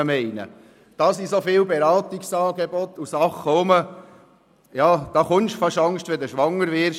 Es gibt so viele Beratungsangebote, dass man fast Angst bekommt, wenn man schwanger wird.